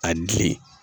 A girin